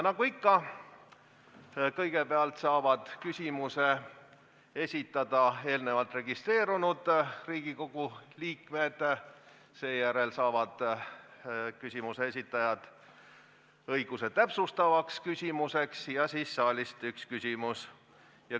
Nagu ikka, kõigepealt saavad küsimuse esitada eelnevalt registreerunud Riigikogu liikmed, seejärel saavad küsimuse esitajad õiguse täpsustavaks küsimuseks ja siis saalist üks küsimus.